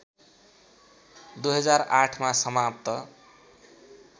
२००८ मा समाप्त